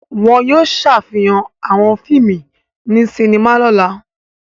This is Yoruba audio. Wọn yóò ṣàfihàn àwọn fíìmù ní sinima lọ́la.